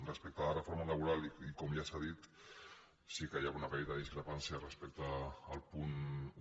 respecte a la reforma laboral i com ja s’ha dit sí que hi ha una petita discrepància respecte al punt un